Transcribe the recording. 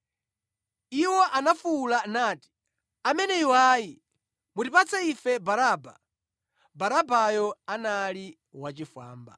Iwo anafuwula nati, “Ameneyu ayi! Mutipatse ife Baraba!” Barabayo anali wachifwamba.